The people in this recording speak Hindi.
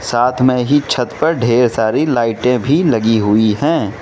साथ में ही छत पर ढेर सारी लाइटें भी लगी हुई हैं।